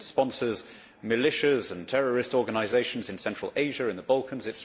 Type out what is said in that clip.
It sponsors militias and terrorist organisations in Central Asia, in the Balkans